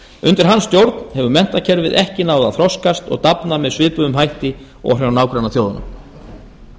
undir hans stjórn hefur menntakerfið ekki náð að þroskast og dafna með svipuðum hætti og hjá nágrannaþjóðunum